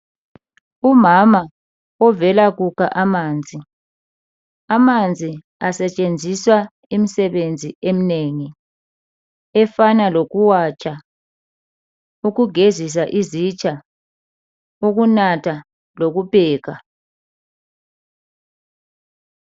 Umama ovela kukha amanzi, amanzi asetshenziswa imisebenzi eminengi efana lokuwatsha, ukugezisa izitsha, ukunatha lokupheka.